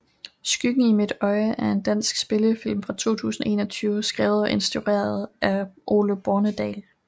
Skyggen i mit øje er en dansk spillefilm fra 2021 skrevet og instrueret af Ole Bornedal